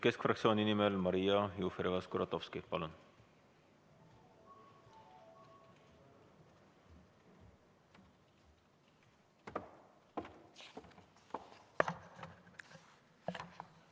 Keskfraktsiooni nimel Maria Jufereva-Skuratovski, palun!